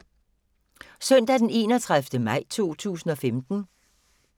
Søndag d. 31. maj 2015